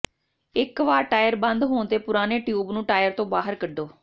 ਇਕ ਵਾਰ ਟਾਇਰ ਬੰਦ ਹੋਣ ਤੇ ਪੁਰਾਣੇ ਟਿਊਬ ਨੂੰ ਟਾਇਰ ਤੋਂ ਬਾਹਰ ਕੱਢੋ